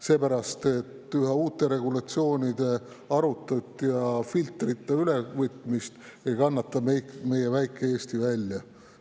Seepärast, et üha uute regulatsioonide arutut ja filtrita ülevõtmist ei kannata meie väike Eesti välja.